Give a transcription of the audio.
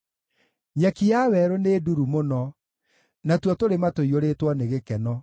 Nyeki ya werũ nĩ nduru mũno, natuo tũrĩma tũiyũrĩtwo nĩ gĩkeno.